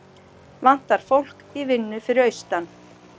Vantar fólk í vinnu fyrir austan